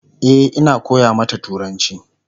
E,Ina koya mata turanci